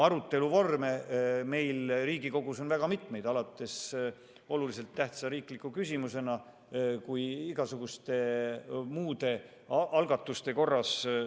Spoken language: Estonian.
Arutelu vorme on Riigikogus mitu, alates olulise tähtsusega riiklikust küsimusest ja lõpetades igasuguste muude võimalustega.